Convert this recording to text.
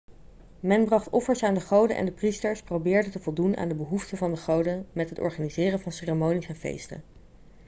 men bracht offers aan de goden en de priesters probeerden te voldoen aan de behoeften van de goden met het organiseren van ceremonies en feesten